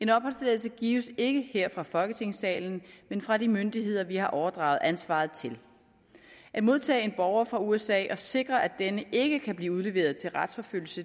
en opholdstilladelse gives ikke her fra folketingssalen men fra de myndigheder vi har overdraget ansvaret til at modtage en borger fra usa og sikre at denne ikke kan blive udleveret til retsforfølgelse